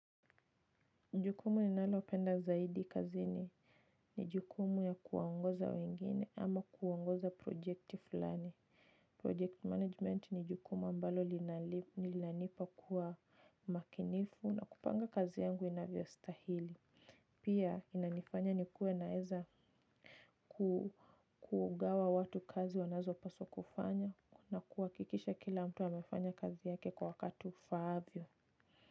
Jukumu ninalopenda zaidi kazini jukumu ya kuwa ongoza wengine ama kuongoza projekti fulani Project management ni jukumu ambalo linanipa kuwa makinifu na kupanga kazi yangu inavyo stahili. Pia inanifanya ni kuwe naweza kugawa watu kazi wanazo paswa kufanya na kuha kikisha kila mtu amefanya kazi yake kwa wakati ufaavyo.